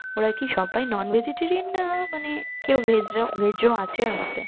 ওরা কি সবাই non vegetarian না মানে কেউ veg ও আছে অনেকে